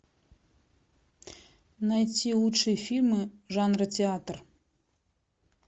найти лучшие фильмы жанра театр